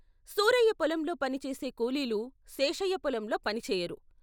సూరయ్య పొలంలో పనిచేసే కూలీలు శేషయ్య పొలంలో పనిచేయరు.